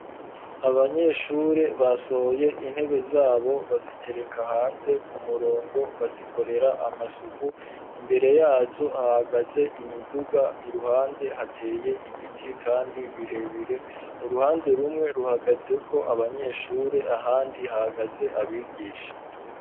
aAbanyeshure basohoye intebe zabo bazitereka hanze ku murongo bazikorera amasuku imbere yazo hahagaze imiduga iruhande hateye ibiti kandi birebire uruhande rumwe ruhagazeko abanyeshure ahandi hahagaze abigisha.